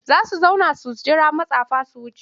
Za su zauna su jira matsafan su wuce.